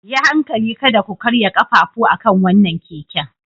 Yi hankali kada ku karya ƙafafu akan wannan keken.